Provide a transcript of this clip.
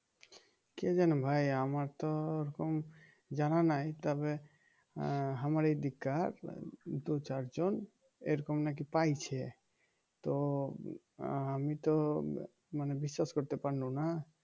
কে জানে ভাই আমার তো এরকম জানা নাই তবে আহ আমার এইদিক কার দু চারজন এরকম নাকি পাইছে তো আমি তো মানে বিশ্বাস করতে পারলুম না